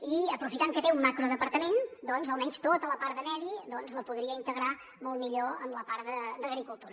i aprofitant que té un macrodepartament almenys tota la part de medi doncs la podria integrar molt millor amb la part d’agricultura